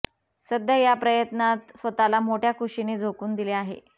सध्या या प्रयत्नांत स्वतःला मोठ्या खुशीने झोकून दिले आहे